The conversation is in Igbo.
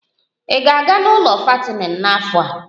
Ị ga-aga n'ụlọ fattening n'afọ a?